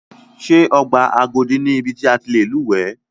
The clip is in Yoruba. Ṣé ọgbà Agodi ni ibi ti a ti lè lúwẹ̀ẹ́.